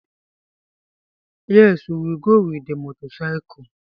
Yes! We will go with the motorcycle.